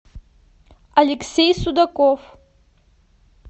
алексей судаков